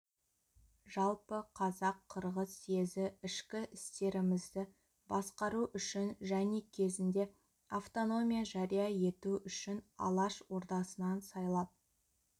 жалпы қазақ-қырғыз съезі ішкі істерімізді басқару үшін және кезінде автономия жария ету үшін алаш ордасын сайлап